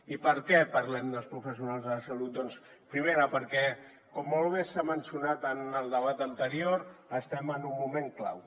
i per què parlem dels professionals de la salut primera perquè com molt bé s’ha mencionat en el debat anterior estem en un moment clau